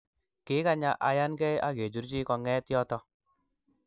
kikanya ayan ke akachurchi konget yoto